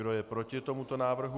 Kdo je proti tomuto návrhu?